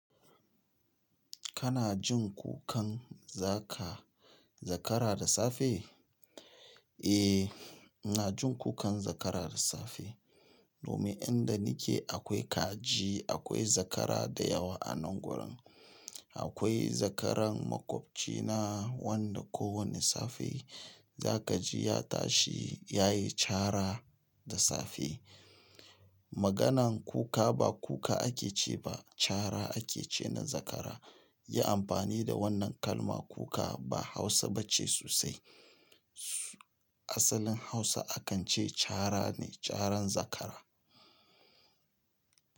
Kana jin kukan zaka zakara da safe? Eh, ina jin kukan zakara da safe. Domin inda nike akwai kaji, akwai zakara da yawa a nan gurin. Akwai zakaran maƙwabci na wanda ko wani safe za ka ji ya tashi ya yi cara da safe. Maganan kuka ba kuka ake ce ba cara ake ce na zakara. Yi amfani da wannan kalma kuka ba Hausa ba ce sosai. Asalin Hausa akan ce cara ne, caran zakara.